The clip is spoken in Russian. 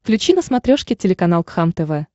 включи на смотрешке телеканал кхлм тв